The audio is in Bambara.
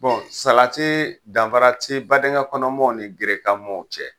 salatii danfara te badenya kɔnɔmɔɔw ni gerekan mɔɔw cɛ.